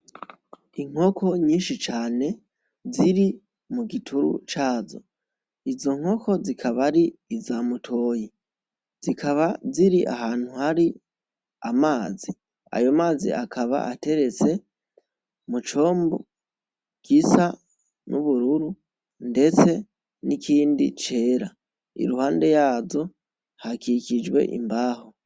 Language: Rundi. Inkoko nyinshi cane ziri mu gituru cazo. Izo nkoko zikaba ari iza mutoyi , zikaba ziri ahantu hari amazi , ayo mazi akaba ateretse mu combo gisa n'ubururu ndetse n'ikindi cera. Iruhande yazo hakikuje imbaho.